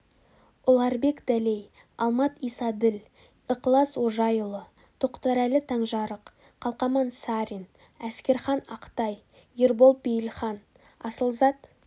ұларбек дәлей алмат исаділ ықылас ожайұлы тоқтарәлі таңжарық қалқаман сарин әскерхан ақтай ербол бейілхан асылзат